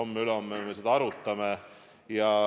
Homme-ülehomme me seda arutame.